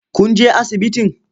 Kun je asibitin?